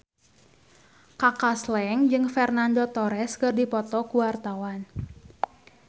Kaka Slank jeung Fernando Torres keur dipoto ku wartawan